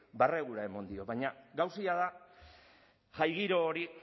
barregura eman dio baina gauza jada jai giro hori